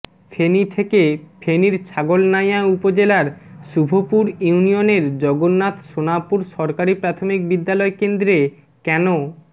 ফেনী থেকেঃ ফেনীর ছাগলনাইয়া উপজেলার শুভপুর ইউনিয়নের জগন্নাথ সোনাপুর সরকারি প্রাথমিক বিদ্যালয় কেন্দ্রে কেন